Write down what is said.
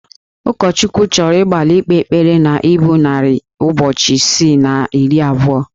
Ụkọchukwu chọrọ ịgbalị ikpe ekpere na ibu narị ụbọchị isii na iri abụọ